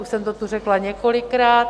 Už jsem to tu řekla několikrát.